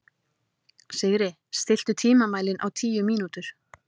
Sigri, stilltu tímamælinn á tíu mínútur.